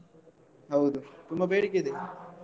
ಹೌದು ತುಂಬ ಬೇಡಿಕೆ ಇದೆ.